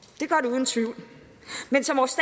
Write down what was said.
uden tvivl men som vores